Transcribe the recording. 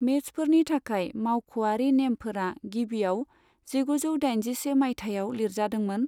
मेचफोरनि थाखाय मावख'आरि नेमफोरा गिबियाव जिगुजौ दाइनजिसे मायथाइयाव लिरजादोंमोन।